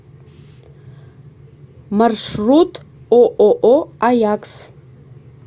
маршрут ооо аякс